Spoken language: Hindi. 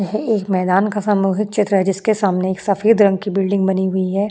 यह एक मैदान का सामूहिक चित्र है जिस के सामने एक सफेद रंग की बिल्डिंग बनी हुई है।